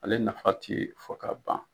Ale nafa ti fɔ ka ban.